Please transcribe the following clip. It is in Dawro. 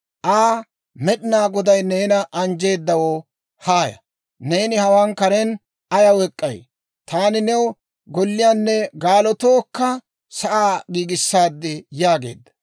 Aa, «Med'inaa Goday neena anjjeedawo, haaya! Neeni hawaan karen ayaw ek'k'ay? Taani new golliyaanne gaalotookka sa'aa giigissaad» yaageedda.